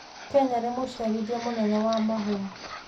Kenya nĩ mũciarithia mũnene wa mahũa.